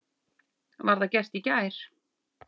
Var það gert í gær.